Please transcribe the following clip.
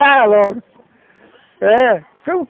logo é